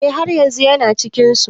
Eh haryanzun Yana cikin su.